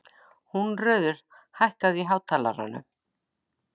Húnröður, hækkaðu í hátalaranum.